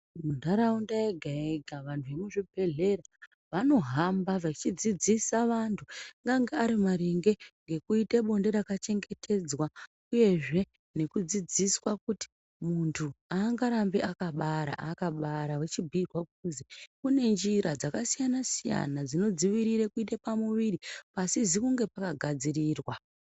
Muntaraunda yega-yega antu emuzvibhedhlera vanofamba vachidzidzisa vantu angange ari maringe ngekuite bonde rakachengetedzwa, uyezve nekudzidziswa kuti muntu hangarambi akabara akabara vochibhuirwa kuzi kunenjira dzakasiyana-siyana, dzinodzivirire kuite pamuviri pasizi kunge pakagadzirirwa.